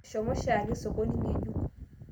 Eshomo shaake sokoni ng'ejuk